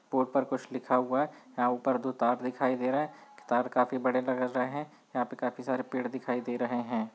Board पर कुछ लिखा हुआ है यहाँ ऊपर दो तार दिखाई दे रहे है तार काफी बड़े लग रहे है यहाँ पे काफी सारे पेड़ दिखाई दे रहे है।